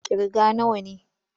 Ƙirga nawa ne!